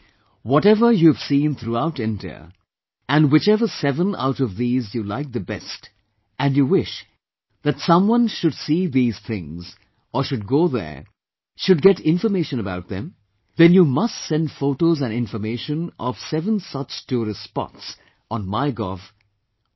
Similarly, whatever you have seen throughout India and whichever seven out of these you liked the best and you wish that someone should see these things, or should go there, should get information about them, then you must send photos and information of seven such tourist spots on Mygov